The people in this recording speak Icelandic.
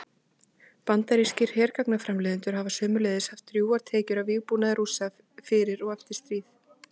Bandarískir hergagnaframleiðendur hafa sömuleiðis haft drjúgar tekjur af vígbúnaði Rússa fyrir og eftir stríð.